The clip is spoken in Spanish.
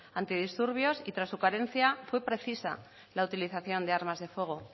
antidisturbios y tras su carencia fue precisa la utilización de armas de fuego